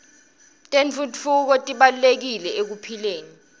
tentfutfuko tibalulekile ekuphileni